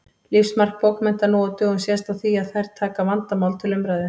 Lífsmark bókmennta nú á dögum sést á því að þær taka vandamál til umræðu.